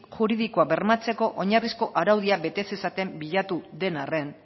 juridikoak bermatzeko oinarrizko araudiak bete zezaten bilatu den arren